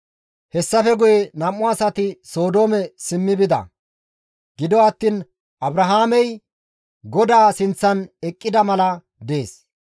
Hessafe guye nam7u asati Sodoome simmi bida; gido attiin Abrahaamey GODAA sinththan eqqida mala dees.